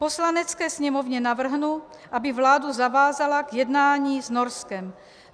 Poslanecké sněmovně navrhnu, aby vládu zavázala k jednání s Norskem.